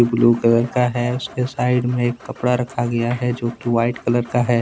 Blue colour का है उसके साइड में एक कपड़ा रखा गया है जो कि व्हाइट कलर का है।